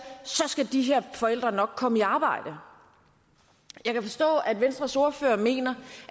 så skal de her forældre nok komme i arbejde jeg kan forstå at venstres ordfører mener